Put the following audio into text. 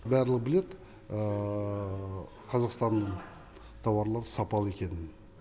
барлығы біледі қазақстан тауарлары сапалы екенін